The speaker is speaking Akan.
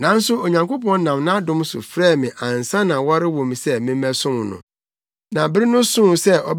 Nanso Onyankopɔn nam nʼadom so frɛɛ me ansa na wɔrewo me sɛ memmɛsom no. Na bere no soo